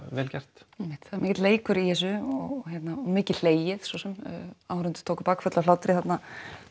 vel gert einmitt það er mikill leikur í þessu og mikið hlegið svo sem áhorfendur tóku bakföll af hlátri þarna